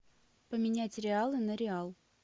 поменять реалы на реал